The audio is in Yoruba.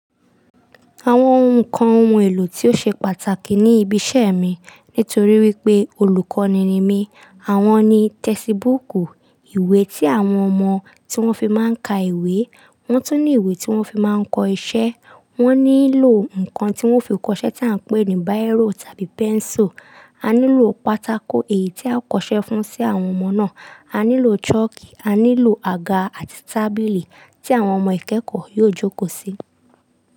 Àwọn ǹkan ohun èlò tí ó ṣe pàtàkì ní ibi iṣẹ́ mi nítorí wípé olùkọ́ni ni mí, àwọn ni tẹsibúùkù, ìwé tí àwọn ọmọ tí wọ́n fi máa ń ka ìwé, wọ́n tún ní ìwé tí wọ́n fi máa ń kọ iṣẹ́, wọ́n nílò ǹkan tí wọ́n fi kọṣẹ́ tí à ń pè ní biro tàbí pencil, a nílò pátákó èyí tí a kọṣẹ́ fún sí àwọn ọmọ náà, a nílò chalk, a nílò àga àti tábìlì tí àwọn ọmọ ìkẹ́kọ̀ọ́ yóò jókòó sí.